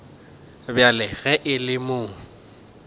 bjale ge e le mo